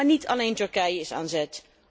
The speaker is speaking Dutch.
Maar niet alleen Turkije is aan zet.